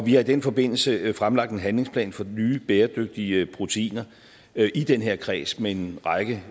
i den forbindelse fremlagt en handlingsplan for nye bæredygtige proteiner i den her kreds med en række